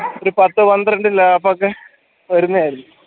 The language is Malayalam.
ഒരു പത്തു പന്ത്രണ്ട് lap ഒക്കെ വരുന്നയിരിക്കും